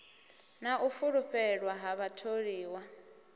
na u fulufhelwa ha vhatholiwa